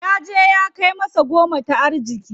Yaje ya kai masa goma ta arziki.